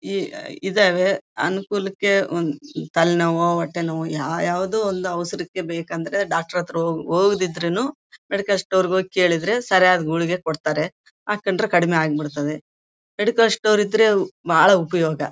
ಇದರ ಅನುಕೂಲಕ್ಕೆ ತಲೆನೋವು ಹೊಟ್ಟೆನೋವು ಯಾವ್ ಯಾವದೋ ಅಲ್ಲಾ ಬೇಕಂದ್ರೆ ಡಾಕ್ಟರ್ ಡಾಕ್ಟರ್ ಹತ್ರ ಹೋಗ್ ದಿದ್ರುನ್ನು ಮೆಡಿಕಲ್ ಸ್ಟೋರ್ ಹೋಗಿ ಕೇಳಿದ್ರೆ ಸರ್ ಅದು ಗುಳಗೆ ಕೊಡತ್ತರೆ ಹಾಕೊಂಡ್ರೆ ಕಡಿಮೆ ಆಗಬಿಡುತ್ತದೇ ಮೆಡಿಕಲ್ ಸ್ಟೋರ್ ಇದ್ರೆ ಬಹಳ್ ಉಪಯೋಗ.